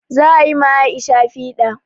Za a yi ma Aisha piɗa